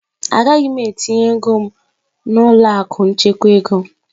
Agaghị m etinye ego m n'ụlọ akụ nchekwa ego.